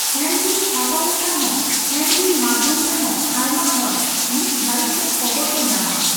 Handbill ᱪᱷᱟᱯᱟ ᱞᱮᱠᱷᱟᱱ ᱦᱚᱸ ᱦᱮᱱᱰᱵᱤᱞ ᱢᱟᱫᱽᱫᱷᱚᱢ ᱛᱮᱦᱚᱸ ᱟᱭᱢᱟ ᱦᱚᱲ ᱢᱤᱫ ᱜᱷᱟᱹᱲᱤᱡᱛᱮ ᱠᱷᱚᱵᱚᱨ ᱠᱚ ᱧᱟᱢᱟ ᱾